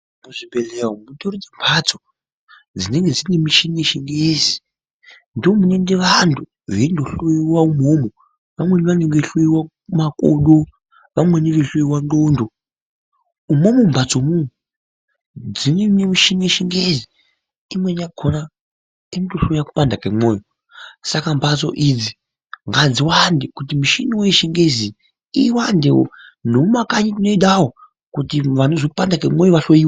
Muzvibhehlera umu mutori nembatso dzinenge dzine michini yechingezi. Ndoomunoende vantu veundohloiwa umwomwo, vamweni vanenge vehloiwa makodo. Vamweni veihloiwa ndxondo umwomwo mumbatsomwo dzine michini yechingezi. Imweni yakona inotohloya kupanda kemwoyo . Saka mbatso idzi ngadziwande kuti michiniwo yechingezi iyi iwandewo. Nemumakanyi tinoidawo kuti vanhu vanozwa kupanda kwemwoyo vahloiwe.